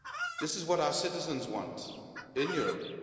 This is what our citizens want, in Europe.